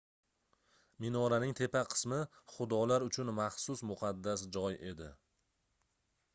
minoraning tepa qismi xudolar uchun maxsus muqaddas joy edi